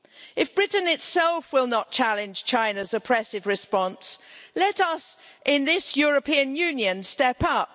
If Britain itself will not challenge China's oppressive response, let us in this European Union step up.